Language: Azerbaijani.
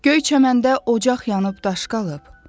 Göy çəməndə ocaq yanıb daş qalıb.